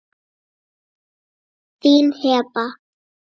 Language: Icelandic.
Þín Heba.